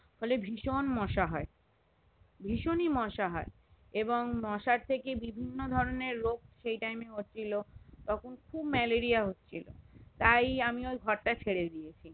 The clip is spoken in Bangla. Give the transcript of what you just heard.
ফলে ভীষণ মশা হয়ে ভীষণই মোসা হয়ে এবং মশার থেকে বিভিন্ন ধরণের রোগ সেই টাইম এ হচ্ছিলো তখন খুব ম্যালেরিয়া হচ্ছিলো তাই আমি ওই ঘর তা ছেড়েদিলাম